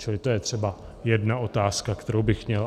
Čili to je třeba jedna otázka, kterou bych měl.